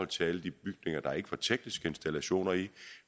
til alle de bygninger der ikke var tekniske installationer i